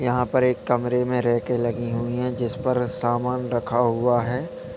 यहाँ पर एक कमरे में रैके लगी हुई है जिस पर सामान रखा हुआ है।